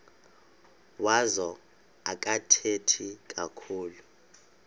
wazo akathethi kakhulu